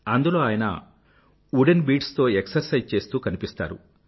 అందులో ఆయన wooden beads తో ఎక్సర్సైజ్ చేస్తూ కనిపిస్తారు